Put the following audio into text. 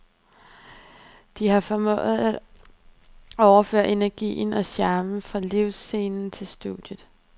De har formået at overføre energien og charmen fra livescenen til studiet.